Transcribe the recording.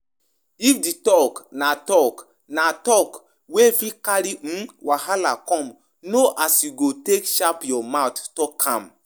Make sure say di question wey you ask na wetin concern you